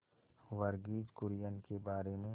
वर्गीज कुरियन के बारे में